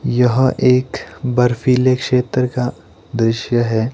यह एक बर्फीले क्षेत्र का दृश्य है।